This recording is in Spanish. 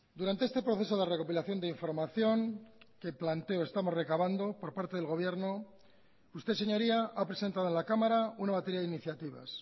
durante este proceso de recopilación de información que planteo estamos recavando por parte del gobierno usted señoría ha presentado a la cámara una batería de iniciativas